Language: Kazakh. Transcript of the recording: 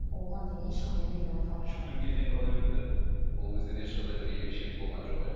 оған дейін ешқандай белгі байқалмады жүктілік кезеңі қалай өтті ол кезде де ешқандай бір ерекшелік болған жоқ иә